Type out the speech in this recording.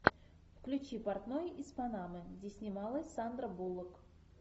включи портной из панамы где снималась сандра буллок